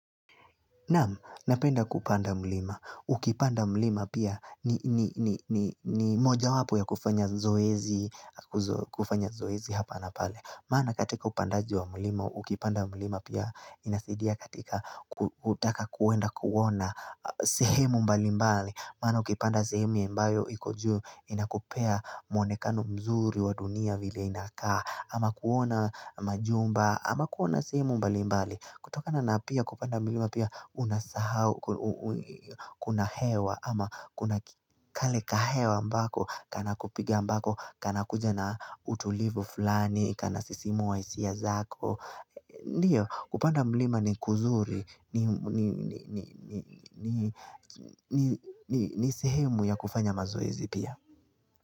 Naam, napenda kupanda mlima. Ukipanda mlima pia ni moja wapo ya kufanya zoezi hapa na pale. Maana katika upandaji wa mlima ukipanda mlima pia inasidia katika utaka kuwenda kuwona sehemu mbali mbali Maana ukipanda sehemu ambayo iko juu inakupea mwonekano mzuri wa dunia vile inakaa. Ama kuona majumba, ama kuona sehemu mbali mbali. Kutokana na pia kupanda mlima pia unasahau kuna hewa ama kuna kale kahewa ambako kanakupiga ambako kanakuja na utulivu fulani kanasisimua hisia zako Ndiyo, kupanda mlima ni kuzuri ni sehemu ya kufanya mazoezi pia.